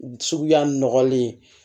Suguya nɔgɔlen